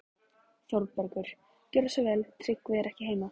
ÞÓRBERGUR: Gjörðu svo vel, Tryggvi er ekki heima.